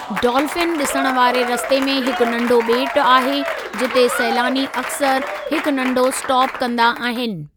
Dolphin ॾिसण वारे रस्ते में हिकु नंढो ॿेटु आहे, जिते सैलानी अक्सर हिक नंढो स्टाप कंदा आहिनि।